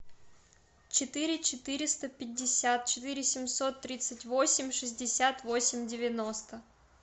четыре четыреста пятьдесят четыре семьсот тридцать восемь шестьдесят восемь девяносто